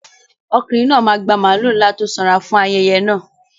Ọkùnrin náà máa gba màlúù ńlá tó sanra fún ayẹyẹ náà.